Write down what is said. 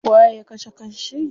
Waye ya kashe kan shi?